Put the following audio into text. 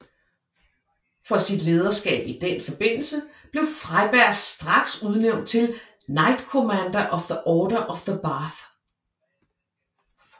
For sit lederskab i den forbindelse blev Freyberg straks udnævnt til Knight Commander of the Order of the Bath